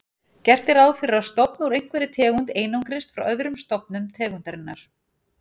Gert er ráð fyrir að stofn úr einhverri tegund einangrist frá öðrum stofnum tegundarinnar.